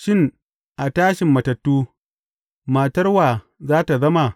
Shin, a tashin matattu, matar wa za tă zama?